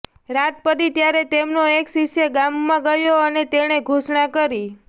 રાત પડી ત્યારે તેમનો એક શિષ્ય ગામમાં ગયો અને તેણે ઘોષણા કરી